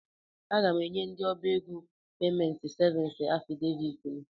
Aga m enye ndị ọbá égo peement sevins afịdeviiti m.